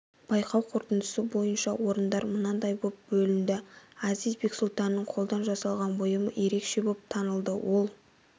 байқау қорытындысы бойынша орындар мынадай боп бөлінді әзиз бексұлтанның қолдан жасаған бұйымы ерекше боп танылды ол